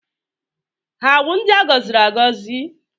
Ha wụ ndị a gọziri agọzi?